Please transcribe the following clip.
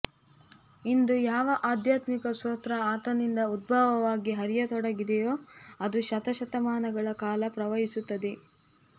ಇಂದು ಯಾವ ಆಧ್ಯಾತ್ಮಿಕ ಸ್ತೋತ್ರ ಆತನಿಂದ ಉದ್ಭವವಾಗಿ ಹರಿಯತೊಡಗಿದೆಯೊ ಅದು ಶತಶತಮಾನಗಳ ಕಾಲ ಪ್ರವಹಿಸುತ್ತದೆ